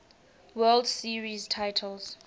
world series titles